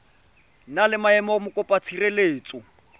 na le maemo a mokopatshireletso